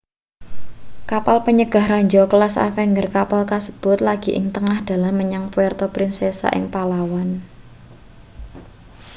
kapal panyegah ranjau kelas avenger kapal kasebut lagi ing tengah dalan menyang puerto princesa ing palawan